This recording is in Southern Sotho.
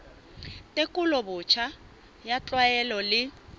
tekolo botjha ya ditlwaelo le